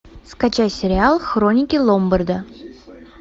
скачай сериал хроники ломбарда